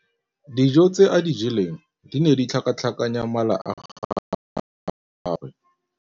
Dijô tse a di jeleng di ne di tlhakatlhakanya mala a gagwe.